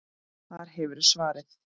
Þar hefurðu svarið.